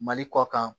Mali kɔ kan